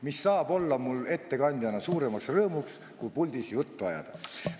Mis saab olla mul ettekandjana suurem rõõm kui puldis juttu ajada!